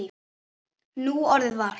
Núorðið var